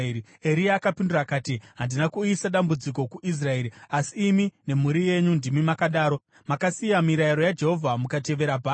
Eria akapindura akati, “Handina kuuyisa dambudziko kuIsraeri, asi imi nemhuri yenyu ndimi makadaro. Makasiya mirayiro yaJehovha mukatevera Bhaari.